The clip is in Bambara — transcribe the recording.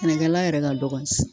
Sɛnɛkɛla yɛrɛ ka dɔgɔ